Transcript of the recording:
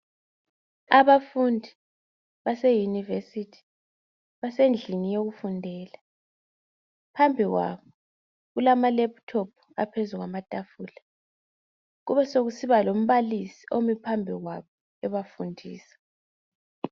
Abafundi baseyunivesithi basendlini yokufundela. Phambi kwabo kulama lephuthophu aphezu kwamatafula kube sokusiba lombalisi omi phambi kwabo ebafundisa.